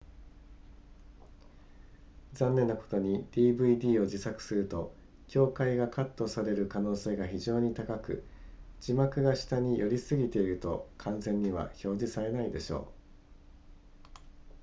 残念なことに dvd を自作すると境界がカットされる可能性が非常に高く字幕が下に寄りすぎていると完全には表示されないでしょう